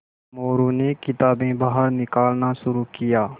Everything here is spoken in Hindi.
मोरू ने किताबें बाहर निकालना शुरू किया